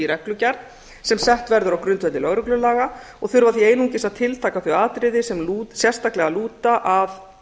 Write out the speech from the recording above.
reglugerð sem sett verður á grundvelli lögreglulaga og þurfa því einungis að tiltaka þau atriði sem sérstaklega lúta að